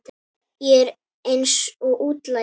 Ég er eins og útlagi.